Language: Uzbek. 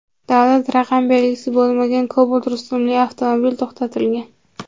davlat raqam belgisi bo‘lmagan Cobalt rusumli avtomobil to‘xtatilgan.